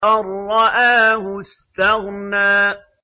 أَن رَّآهُ اسْتَغْنَىٰ